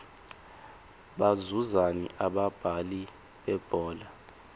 bazuzani abadlali bebhola